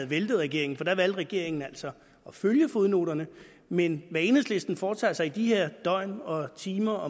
væltet regeringen for der valgte regeringen altså at følge fodnoterne men hvad enhedslisten foretager sig i de her døgn og timer